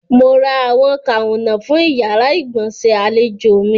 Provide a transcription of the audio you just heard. Mo ra àwọn kàǹnọ̀ fún ìyàrá-ìgbọ̀nsẹ̀ àlèjò mi.